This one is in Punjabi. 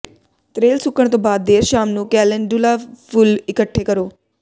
ਤ੍ਰੇਲ ਸੁੱਕਣ ਤੋਂ ਬਾਅਦ ਦੇਰ ਸ਼ਾਮ ਨੂੰ ਕੈਲੇਂਡੁਲਾ ਫੁੱਲ ਇਕੱਠੇ ਕਰੋ